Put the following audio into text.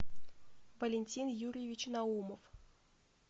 валентин юрьевич наумов